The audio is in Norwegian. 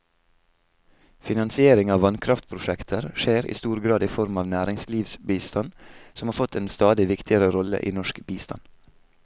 Finansiering av vannkraftprosjekter skjer i stor grad i form av næringslivsbistand, som har fått en stadig viktigere rolle i norsk bistand.